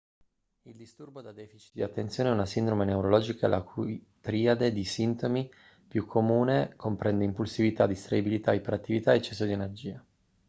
il disturbo da deficit di attenzione è una sindrome neurologica la cui triade di sintomi più comune comprende impulsività distraibilità iperattività o eccesso di energia